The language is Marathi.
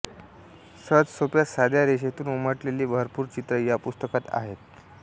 सहजसोप्या साध्या रेषेतून उमटलेली भरपूर चित्रं या पुस्तकात आहेत